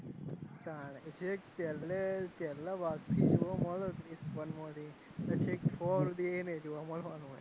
તારે છેક પહેલે પહેલાં ભાગ થી જોવાં મળવાનું ક્રીશ one તે છેક four સુધી ય નય જોવાં મળવાનું હોય.